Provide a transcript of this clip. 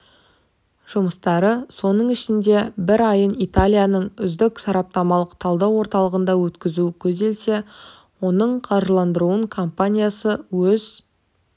жұмыстары соның ішінде бір айын италияның үздік сараптамалық-талдау орталығында өткізу көзделсе оның қаржыландырылуын компаниясы өз